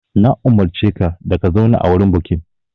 Na umurce ka da ka zauna a wurin bukin!